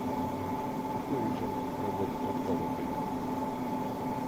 какой режим работы катка в отеле